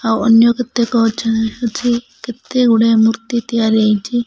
ଆଉ ଅନ୍ୟ କେତେକ ଅଛ ଅଛି କେତେ ଗୁଡ଼ାଏ ମୂର୍ତ୍ତି ତିଆରି ହେଇଚି।